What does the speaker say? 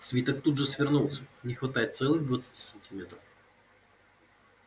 свиток тут же свернулся не хватает целых двадцати сантиметров